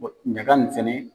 ɲagaka nin sɛnɛ.